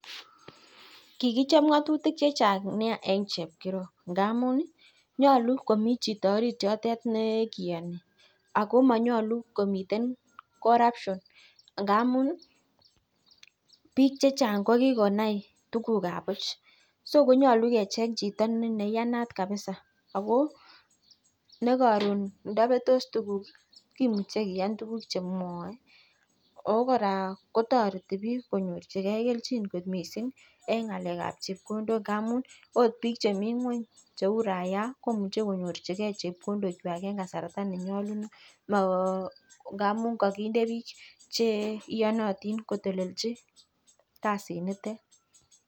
Kikichobe ng'atutik chechang nea en chepkirob ngamun nyalu, komichito orityutok nekiyani Ako manyalu komiten corruption ngamun ih bik chachang kokikonai tuguk kab buch, nyolu kecheng chito nekikonai neiyanat kabisa nekaron ndabetos tuguk ih, kimuche kian tuguk chemwae Ako kora kotareti bik konyorchike kelchin missing akot en ng'alekab chebkondok mekase tuguk chemwae en bik chemi ngueny cheuu rayaa komuch konyorchike chebkondok en kasarta nenyalunot ngamun kakinde bik chenyalu kotelelchi kasit nito.